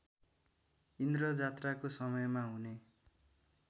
इन्द्रजात्राको समयमा हुने